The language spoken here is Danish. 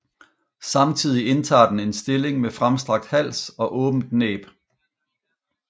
Samtidig indtager den en stilling med fremstrakt hals og åbent næb